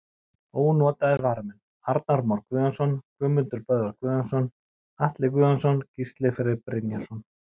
Ónotaðir varamenn: Arnar Már Guðjónsson, Guðmundur Böðvar Guðjónsson, Atli Guðjónsson, Gísli Freyr Brynjarsson.